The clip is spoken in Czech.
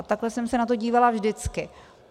A takhle jsem se na to dívala vždycky.